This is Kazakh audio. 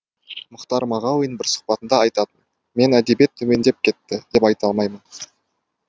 мұхтар мағауин бір сұхбатында айтатын мен әдебиет төмендеп кетті деп айта алмаймын